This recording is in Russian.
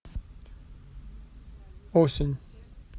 осень